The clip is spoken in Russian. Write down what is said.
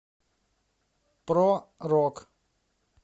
про рок